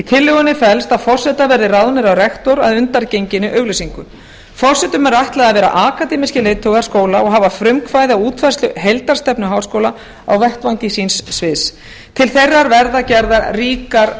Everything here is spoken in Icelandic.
tillögunni felst að forsetar verði ráðnir af rektor að undangenginni auglýsingu forsetum er ætlað að vera akademískir leiðtogar skóla og hafa frumkvæði að útfærslu heildarstefnu háskóla á vettvangi síns sviðs til þeirra verða gerðar ríkar